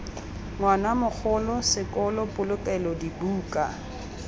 ngwana mogolo sekolo polokelo dibuka